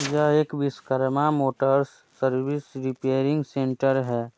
यह एक Vishwakarma motors service repairing centre है।